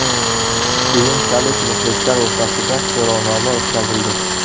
Keyinchalik muxlislar o‘rtasida so‘rovnoma o‘tkazildi.